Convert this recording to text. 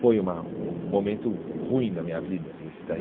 Foi uma um momento ruim da minha vida esse daí.